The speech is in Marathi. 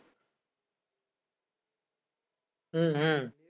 हम्म